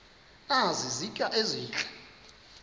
nazi izitya ezihle